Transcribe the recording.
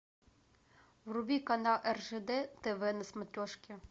вруби канал ржд тв на смотрешке